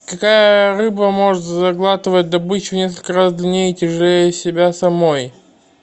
какая рыба может заглатывать добычу в несколько раз длиннее и тяжелее себя самой